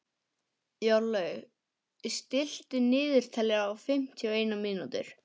Jórlaug, stilltu niðurteljara á fimmtíu og eina mínútur.